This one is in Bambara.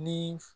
Ni